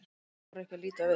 Hún þorir ekki að líta við.